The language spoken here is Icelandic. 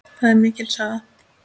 Það er mikil saga.